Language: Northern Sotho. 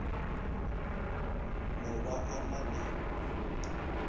no ba a na le